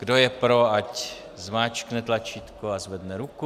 Kdo je pro, ať zmáčkne tlačítko a zvedne ruku.